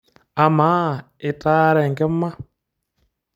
Amaa itaara enkima?